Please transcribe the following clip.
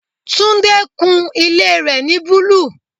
Tunde kun ilé rẹ ni búlúù.